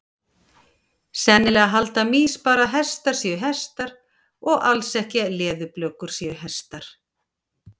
Sennilega halda mýs bara að hestar séu hestar og alls ekki að leðurblökur séu hestar.